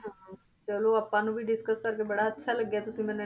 ਹਾਂ ਚਲੋ ਆਪਾਂ ਨੂੰ ਵੀ discuss ਕਰਕੇ ਬੜਾ ਅੱਛਾ ਲੱਗਿਆ ਤੁਸੀਂ ਮੈਨੂੰ